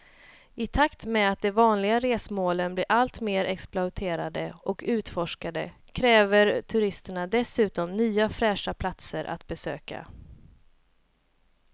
I takt med att de vanliga resmålen blir allt mer exploaterade och utforskade kräver turisterna dessutom nya fräscha platser att besöka.